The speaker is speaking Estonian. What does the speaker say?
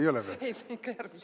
Ei ole veel?